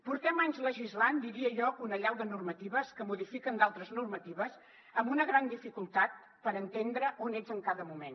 portem anys legislant diria jo que una allau de normatives que modifiquen altres normatives amb una gran dificultat per entendre on ets en cada moment